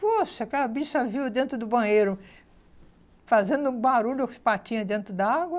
Poxa, aquela bicha viu dentro do banheiro fazendo barulho com as patinhas dentro d'água.